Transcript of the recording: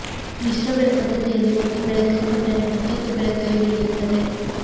ಮಿಶ್ರಬೆಳೆ ಪದ್ಧತಿಯಲ್ಲಿ ಒಂದು ಬೆಳೆ ಕೈ ಕೊಟ್ಟರೆ ಮತ್ತೊಂದು ಬೆಳೆ ಕೈ ಹಿಡಿಯುತ್ತದೆ